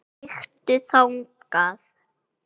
Kíktu þangað.